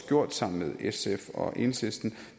gjort sammen med sf og enhedslisten